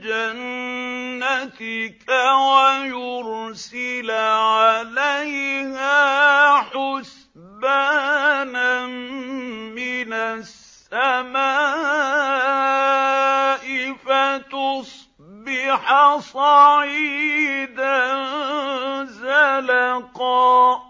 جَنَّتِكَ وَيُرْسِلَ عَلَيْهَا حُسْبَانًا مِّنَ السَّمَاءِ فَتُصْبِحَ صَعِيدًا زَلَقًا